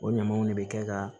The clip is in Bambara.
O ɲamaw de bɛ kɛ ka